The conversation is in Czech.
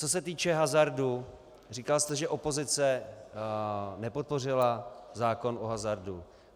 Co se týče hazardu, říkal jste, že opozice nepodpořila zákon o hazardu.